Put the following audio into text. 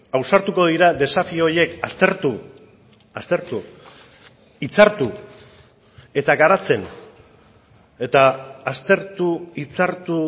ausartuko dira desafio horiek aztertu aztertu hitzartu eta garatzen eta aztertu hitzartu